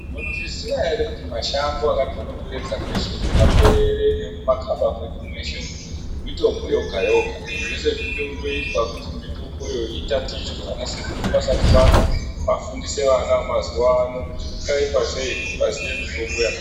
Munozviziya here kuti mashango akatikomberedza mweshe umu mumapeerere nemumakaba mwedu mweshe umu mitombo yoga yoga. Zvese zvinotoizwa kuti mitomboyo itatichwe vanasekuru vasati vafa vafundise vana vemazuvano zvingaitwa sei kuti vaziye mitombo